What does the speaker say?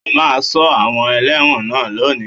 O máa Sọ àwọn elẹ́wọ̀n náà lónìí.